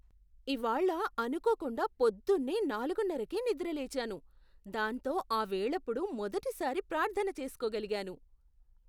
ఇవాళ్ళ అనుకోకుండా పొద్దున్నే నాలుగున్నరకే నిద్ర లేచాను, దాంతో ఆ వేళప్పుడు మొదటిసారి ప్రార్థన చేసుకోగలిగాను.